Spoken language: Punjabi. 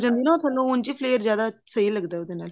ਲੱਗ ਜਾਂਦੀ ਹੈ ਨਾ ਉਹ ਉਂਝ ਹੀ flair ਜਿਆਦਾ ਸਹੀ ਲੱਗਦਾ ਉਹਦੇ ਨਾਲ